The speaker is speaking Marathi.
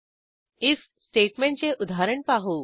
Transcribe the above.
आयएफ स्टेटमेंट चे उदाहरण पाहू